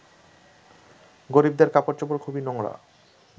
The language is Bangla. গরিবদের কাপড়চোপড় খুবই নোংরা